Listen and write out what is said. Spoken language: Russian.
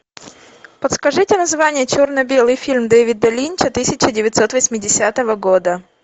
подскажите название черно белый фильм дэвида линча тысяча девятьсот восьмидесятого года